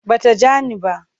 Ba ta ja ni ba.